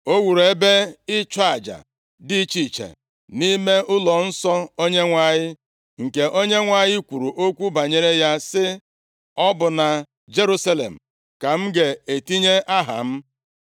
O wuru ebe ịchụ aja dị iche iche, nʼime ụlọnsọ Onyenwe anyị, nke Onyenwe anyị, kwuru okwu banyere ya sị, “Ọ bụ na Jerusalem ka m ga-etinye Aha m.”